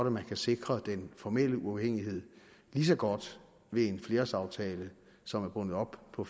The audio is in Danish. at man kan sikre den formelle uafhængighed lige så godt ved en flerårsaftale som er bundet op på